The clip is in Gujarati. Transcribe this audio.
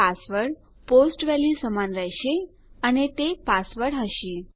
પાસવર્ડ પોસ્ટ વેલ્યુ સમાન રહેશે અને તે પાસવર્ડ હશે